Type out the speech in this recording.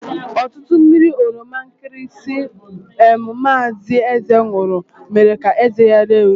Ọtụtụ mmiri oroma nkịrịsịmee mazi Eze nwuru mere ka eze ya ree ure.